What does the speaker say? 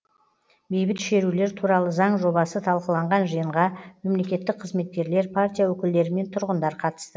бейбіт шерулер туралы заң жобасы талқыланған жиынға мемлекеттік қызметкерлер партия өкілдері мен тұрғындар қатысты